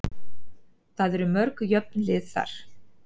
Það eru mörg jöfn lið þar.